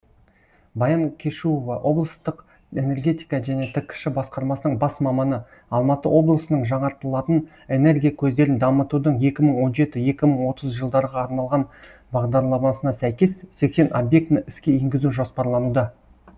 баян кешуова облыстық энергетика және ткш басқармасының бас маманы алматы облысының жаңартылатын энергия көздерін дамытудың екі мың он жеті екі мың отыз жылдарға арналған бағдарламасына сәйкес сексен объектіні іске енгізу жоспарлануда